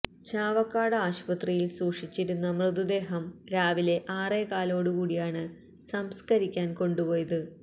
ചാവക്കാട് ആശുപത്രിയില് സൂക്ഷിച്ചിരുന്ന മൃതദേഹം രാവിലെ ആറോകാലോടു കൂടിയാണ് സംസ്കരിക്കാന് കൊണ്ടുപോയത്